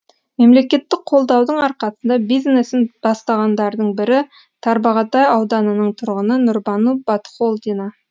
мемлекеттік қолдаудың арқасында бизнесін бастағандардың бірі тарбағатай ауданының тұрғыны нұрбану батхолдина